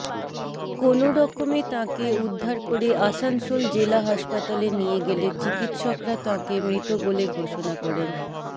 কোনওরকমে তাঁকে উদ্ধার করে আসানসোল জেলা হাসপাতালে নিয়ে গেলে চিকিৎসকরা তাঁকে মৃত বলে ঘোষণা করেন